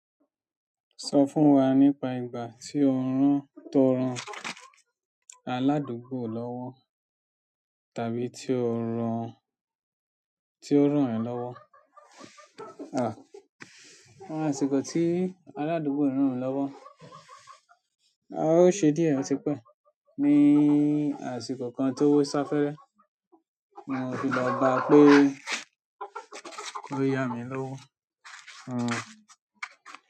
Sọ fún wa nípa ìgbà tí o rán, tó rán aládùúgbò lọ́wọ́ tàbí tí ó rán, tí ó rán ẹ̀ lọ́wọ́. Àsìkò tí aládùúgbò rán mi lọ́wọ́. Ó ṣe díẹ̀ ọtí pẹ́. Ni àsìkò kan tó sá fẹ́erẹ́, mo fi lọ bá pé ko ya mi lówó.